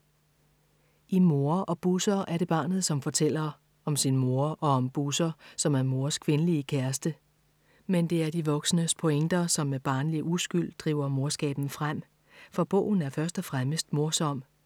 I Mor og Busser er det barnet, som fortæller. Om sin mor og om Busser, som er Mors kvindelige kæreste. Men det er de voksnes pointer, som med barnlig uskyld driver morskaben frem. For bogen er først og fremmest morsom.